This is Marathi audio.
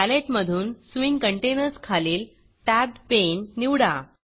पॅलेट मधून स्विंग कंटेनर्स खालील टॅबेडपणे निवडा